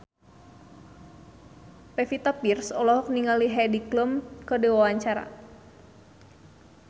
Pevita Pearce olohok ningali Heidi Klum keur diwawancara